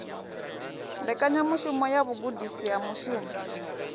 mbekanyamushumo ya vhugudisi ha mushumo